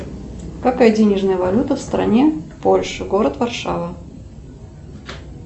какая денежная валюта в стране польша город варшава